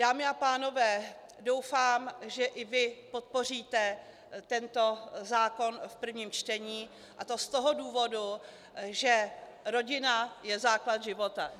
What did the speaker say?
Dámy a pánové, doufám, že i vy podpoříte tento zákon v prvním čtení, a to z toho důvodu, že rodina je základ života.